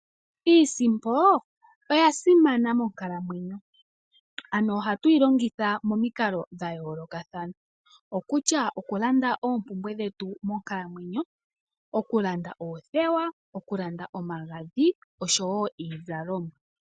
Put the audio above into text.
Iisimpo oya simana monkalamwenyo. Ohatu yi longitha momikalo dha yoolokathana. Okulanda oompumbwe dhetu monkalamwenyo, okulanda oothewa, okulanda omagadhi osho wo iizalomwa.